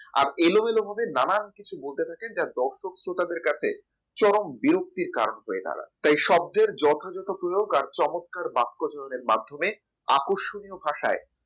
আর এলোমেলো ভাবে নানান কিছু বলতে থাকে যা দর্শক শ্রোতাদের কাছে চরম বিরক্তির কারণ হয়ে দাঁড়ায় তাই শব্দে যথাযথ প্রিয়োগ আর চমৎকার বাক্য জন্য মাধ্যমে আকর্ষণীয় ভাষায়